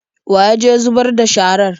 Wa ya je zubar da sharar?